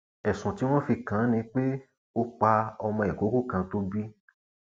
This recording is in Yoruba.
ẹsùn tí wọn fi kàn án ni pé ó pa ọmọ ìkókó kan tó bí